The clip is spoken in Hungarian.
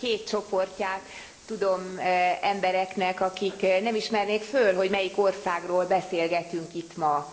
Legalább két csoportját tudom embereknek, akik nem ismernék föl, melyik országról beszélgetünk itt ma.